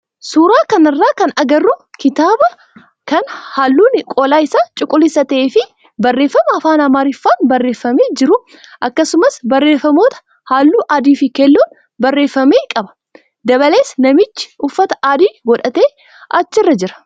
Suuraa kanarraa kan agarru kitaabaa kan halluun qola isaa cuquliisata'ee fi barreeffama afaan amaariffaan barreeffamee jiru akkasumas barreeffamoota halluu adii fi keelloon barreeffame qaba. Dabalees namichi uffata adii godhate achirra jira.